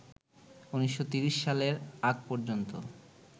১৯৩০ সালের আগ পর্যন্ত